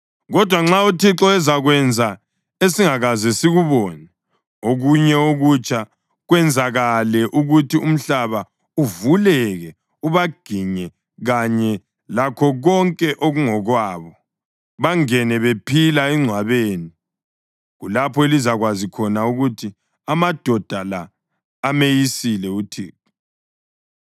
Kodwa nxa uThixo ezakwenza esingakaze sikubone okunye okutsha kwenzakale ukuthi umhlaba uvuleke ubaginye kanye lakho konke okungokwabo, bangene bephila engcwabeni, kulapho elizakwazi khona ukuthi amadoda la ameyisile uThixo.”